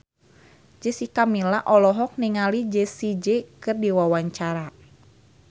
Jessica Milla olohok ningali Jessie J keur diwawancara